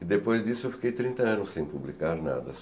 E depois disso eu fiquei trinta anos sem publicar nada.